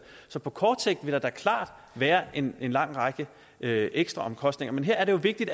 så på kort sigt vil der da klart være en lang række ekstraomkostninger men her er det jo vigtigt